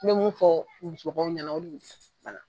N be mun fɔ musolakaw ɲana